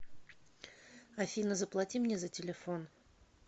афина заплати мне за телефон